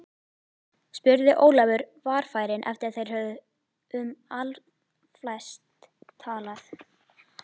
spurði Ólafur varfærinn eftir að þeir höfðu um allflest talað.